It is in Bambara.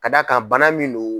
Ka d'a kan bana min no